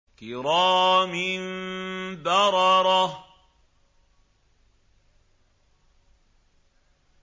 كِرَامٍ بَرَرَةٍ